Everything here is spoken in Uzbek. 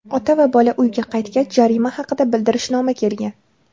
Ota va bola uyga qaytgach, jarima haqida bildirishnoma kelgan.